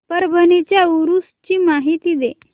परभणी च्या उरूस ची माहिती दे